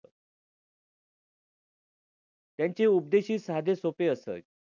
त्यांचे उपदेशही साधे सोपे असत.